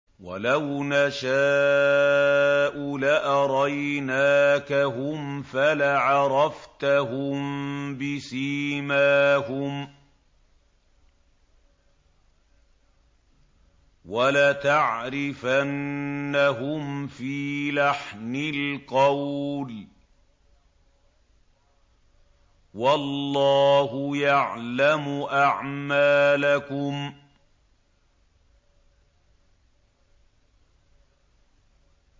وَلَوْ نَشَاءُ لَأَرَيْنَاكَهُمْ فَلَعَرَفْتَهُم بِسِيمَاهُمْ ۚ وَلَتَعْرِفَنَّهُمْ فِي لَحْنِ الْقَوْلِ ۚ وَاللَّهُ يَعْلَمُ أَعْمَالَكُمْ